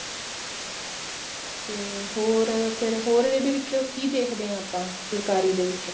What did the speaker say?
ਤੇ ਹੋਰ ਫ਼ੇਰ ਹੋਰ ਇਹਦੇ ਵਿੱਚ ਕੀ ਦੇਖਦੇ ਹਾਂ ਆਪਾਂ ਫੁਲਕਾਰੀ ਦੇ ਵਿੱਚ